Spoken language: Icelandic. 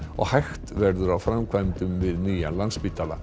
og hægt verður á framkvæmdum við nýjan Landspítala